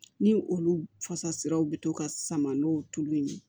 Ni olu fasaraw bɛ to ka sama n'o tulu ye